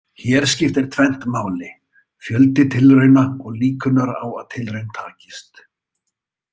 Hér skiptir tvennt máli, fjöldi tilrauna og líkurnar á að tilraun takist.